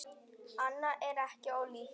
Annað er ekki ólíkt.